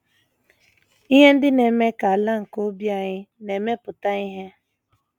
Ihe Ndị Na - eme Ka “ Ala ” nke Obi Anyị Na - emepụta Ihe